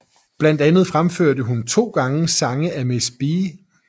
Blandt andet fremførte hun to gange sange af Miss B